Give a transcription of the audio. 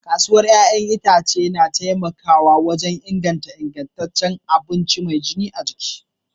Kasuwar 'ya'yan itace na taimakawa wajen inganta ingantaccen abinci mai gina jiki.